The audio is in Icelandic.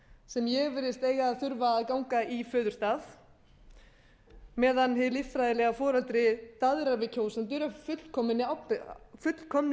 sem ég virðist eiga að þurfa að ganga í föðurstað meðan hið líffræðilega foreldri daðrar við kjósendur af fullkomnu